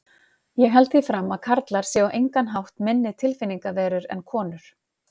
Ég held því fram að karlar séu á engan hátt minni tilfinningaverur en konur.